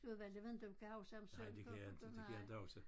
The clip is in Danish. Udvalg jeg ved inte om du kan huske ham Søren Kok nej